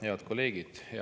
Head kolleegid!